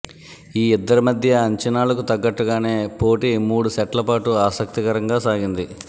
ఈ ఇద్దరి మధ్య అంచనాలకు తగ్గట్టుగానే పోటీ మూడు సెట్ల పాటు ఆసక్తికరంగా సాగింది